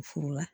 U furu la